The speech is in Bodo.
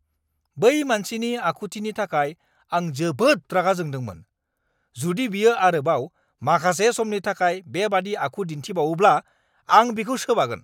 बै मानसिनि आखुथिनि थाखाय आं जोबोद रागा जोंदोंमोन। जुदि बियो आरोबाव माखासे समनि थाखाय बेबायदि आखु दिन्थिबावोब्ला, आं बिखौ सोबागोन।